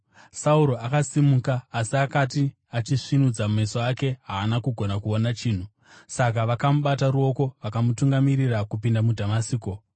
Sauro akasimuka, asi akati achisvinudza meso ake haana kugona kuona chinhu. Saka vakamubata ruoko vakamutungamirira kupinda muDhamasiko.